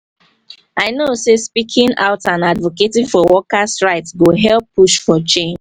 i know say speaking out and advocating for workers' right go help push for change.